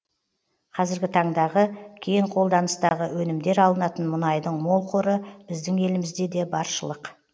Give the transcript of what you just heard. қазіргі таңдағы кең қолданыстағы өнімдер алынатын мұнайдың мол қоры біздің елімізде де баршылық